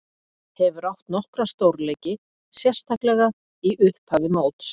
Hefur átt nokkra stórleiki, sérstaklega í upphafi móts.